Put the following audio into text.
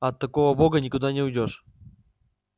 от такого бога никуда не уйдёшь